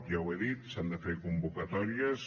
ja ho he dit s’han de fer convocatòries